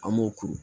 An b'o kuru